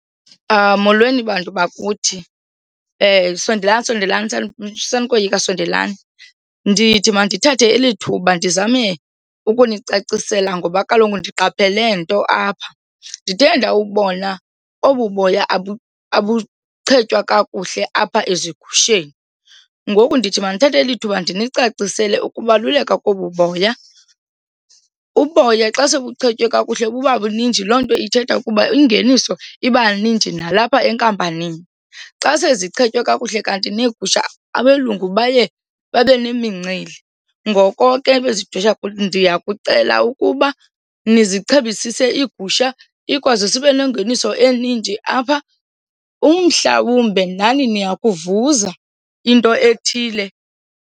Molweni, bantu bakuthi. Sondelani, sondelane, sanokoyika sondelani. Ndithi mandithathe eli thuba ndizame ukunicacisela ngoba kaloku ndiqaphele nto apha, ndithe ndawubona obu boya abuchetywe kakuhle apha ezigusheni ngoku ndithi mandithathe lithuba ndinicacisele ukubaluleka kobu boya. Uboya xa sebuchetywe kakuhle bubabuninji loo nto ithetha ukuba ingeniso ibaninji nalapha enkampanini. Xa sezichetyiwe kakuhle kanti neegusha abelungu baye babe nemincili, ngoko ke bezidwesha ndiyakucela ukuba nizichebisise iigusha ikwazi sibe nengeniso eninji apha. Umhlawumbe nani niya kuvuza into ethile.